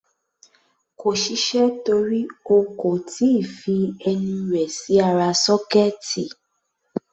Kò ṣiṣẹ́ torí o kò tí ì fi ẹnu rẹ̀ sí ara sọ́kẹ́ẹ̀tì.